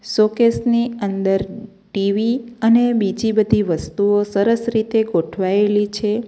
Showcase ની અંદર TV અને બીજી બધી વસ્તુઓ સરસ રીતે ગોઠવાયેલી છે.